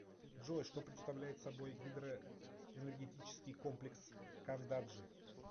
джой что представляет собой гидроэнергетический комплекс кандаджи